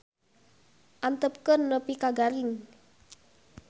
Antepkeun nepi ka garing.